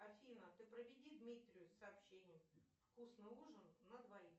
афина ты проведи дмитрию сообщение вкусный ужин на двоих